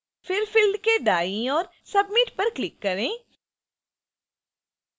फिर field के दाईं ओर submit पर click करें